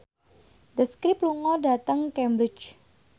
The Script lunga dhateng Cambridge